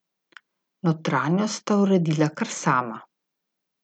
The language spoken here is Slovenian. Notranjost sta uredila kar sama.